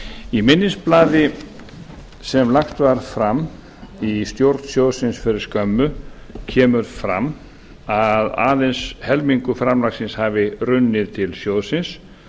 í minnisblaði sem lagt var fram í stjórn sjóðsins fyrir skömmu kemur fram að aðeins helmingur framlagsins hafi runnið til sjóðsins